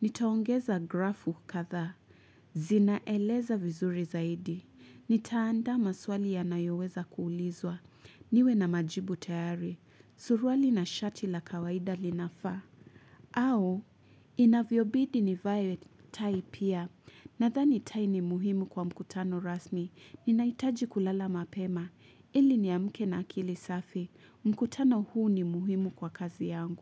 Nitaongeza grafu kadhaa z Zinaeleza vizuri zaidi. Nitaandaa maswali yanayoweza kuulizwa. Niwe na majibu tayari. Suruali na shati la kawaida linafaa aa au, inavyobidi ni vaa tai pia. Nadhani tai ni muhimu kwa mkutano rasmi. Ninahitaji kulala mapema. Ili ni amke na akili safi. Mkutano huu ni muhimu kwa kazi yangu.